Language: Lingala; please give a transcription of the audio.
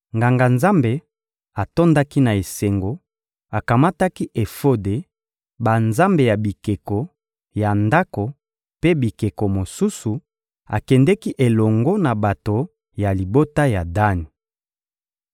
Nganga-nzambe atondaki na esengo, akamataki efode, banzambe ya bikeko ya ndako mpe bikeko mosusu; akendeki elongo na bato ya libota ya Dani.